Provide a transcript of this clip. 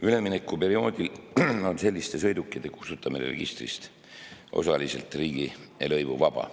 Üleminekuperioodil on selliste sõidukite kustutamine registrist osaliselt riigilõivuvaba.